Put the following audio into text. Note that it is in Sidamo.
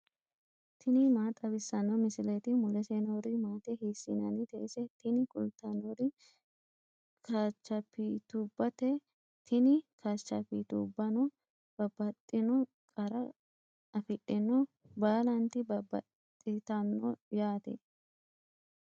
tini maa xawissanno misileeti ? mulese noori maati ? hiissinannite ise ? tini kultannori kaachapitubbate, tini kaachapitubbano babbaxxino qara afidhino baalanti babbaxxitanno yaate.